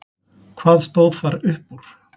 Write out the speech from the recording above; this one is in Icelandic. Hvað stóð þar upp úr?